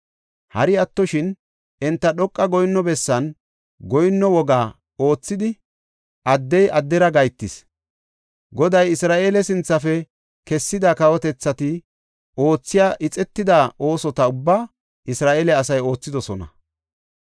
Hari attoshin, enta dhoqa goyinno bessan, goyinno woga oothidi addey addera gahetees. Goday Isra7eele sinthafe kessida kawotethati oothiya ixetida oosota ubbaa Isra7eele asay oothidosona.